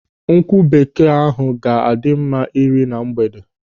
Nkwụ bekee ahụ ga-adị mma ị́rà na mgbede.